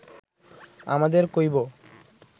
আমাদের কইবো